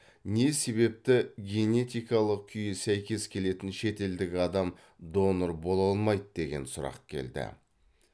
не себепті генетикалық күйі сәйкес келетін шетелдік адам донор бола алмайды деген сұрақ келді